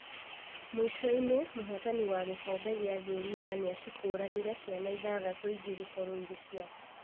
Mũico-inĩ mũhotani wa gikombe gĩa thĩ ng'ima nĩacikũranire ciana ithathatũ ingĩ gũkorwo irĩ ciake.